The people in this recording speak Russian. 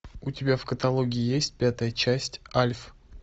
у тебя в каталоге есть пятая часть альф